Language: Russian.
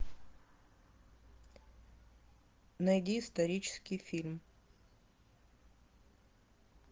найди исторический фильм